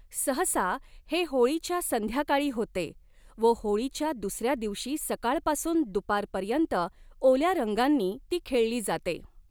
सहसा हे होळीच्या संध्याकाळी होते व होळीच्या दुसऱ्या दिवशी सकाळपासून दुपारपर्यंत ओल्या रंगांनी ती खेळली जाते.